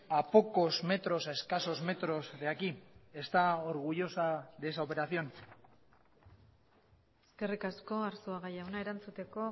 a pocos metros a escasos metros de aquí está orgullosa de esa operación eskerrik asko arzuaga jauna erantzuteko